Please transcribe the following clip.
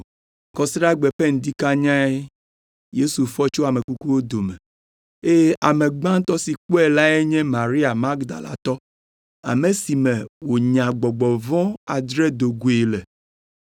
Kɔsiɖagbe ƒe ŋdi kanyae Yesu fɔ tso ame kukuwo dome eye ame gbãtɔ si kpɔe lae nye Maria Magdalatɔ, ame si me wònya gbɔgbɔ vɔ̃ adre do goe le.